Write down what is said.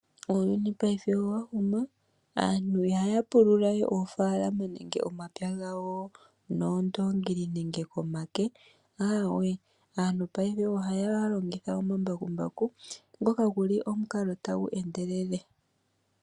Uuyuni paife owa huma aantu ihaya pulula we omapya nenge oofalama nenge omamanya gawo noondongili nenge komake ,aawe aantu paife ohaya longitha omambakumbaku ngoka guli omukalo tagu endelele.